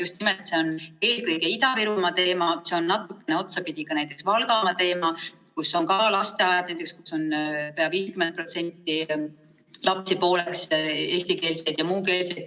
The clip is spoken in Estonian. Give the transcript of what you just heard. See on eelkõige Ida-Virumaa teema, see on natukene otsapidi ka näiteks Valgamaa teema, kus on ka mõnes lasteaias 50% lapsi eestikeelsed ja 50% muukeelsed.